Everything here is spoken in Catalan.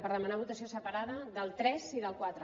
per demanar votació separada del tres i del quatre